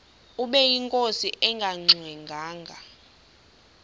ubeyinkosi engangxe ngwanga